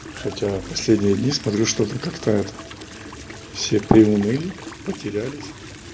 хотя последние дни смотрю что-то как-то это все приуныли потерялись